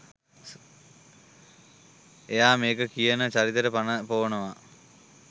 එයා මේකෙ කියන චරිතෙට පණ පොවනවා.